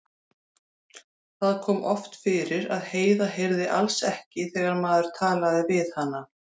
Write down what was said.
Það kom oft fyrir að Heiða heyrði alls ekki þegar maður talaði við hana.